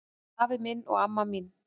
Afi minn og amma mín